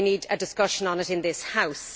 We need a discussion on it in this House.